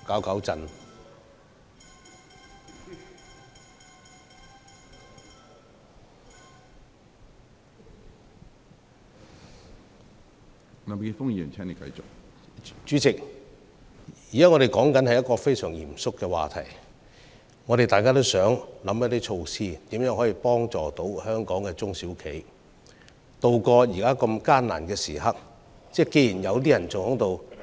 主席，我們現時討論的是一個相當嚴肅的話題，大家也想提出能協助本港中小企渡過現時艱難時刻的措施，但竟然還有人像